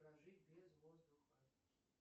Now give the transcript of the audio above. прожить без воздуха